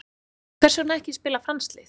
Hvers vegna ekki að spila franskt lið?